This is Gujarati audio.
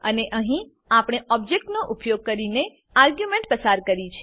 અને અહીં આપણે ઓબજેક્ટનો ઉપયોગ કરીને આર્ગ્યુંમેંટો પસાર કરી છે